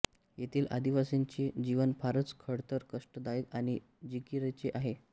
येथील आदिवासींचे जीवन फारच खडतर कष्टदायक आणि जिकिरीचे आहे